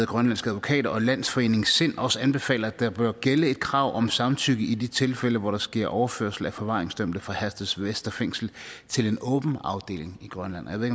grønlandske advokater og landsforeningen sind også anbefaler at der bør gælde et krav om samtykke i de tilfælde hvor der sker overførsel af forvaringsdømte fra herstedvester fængsel til en åben afdeling i grønland jeg ved